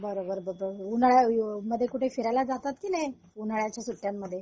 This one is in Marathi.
बरोबर उन्हाळ्यामध्ये कुठे फिरल्या जातात कि नाही उन्हाळाच्या सुट्ट्यांमध्ये